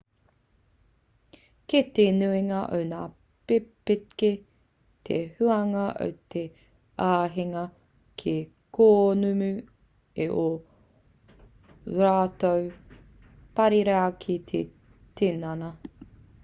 kei te nuinga o ngā pepeke te huanga o te āheinga ki te kōnumi i ō rātou parirau ki te tinana